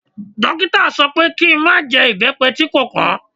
Dókítà sọ pé kí i má jẹ ibepe tí kò pọn.